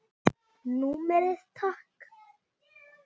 Númerið takk?